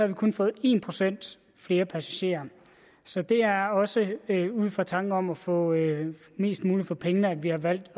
vi kun fået en procent flere passagerer så det er også ud fra tanken om at få mest muligt for pengene at vi har valgt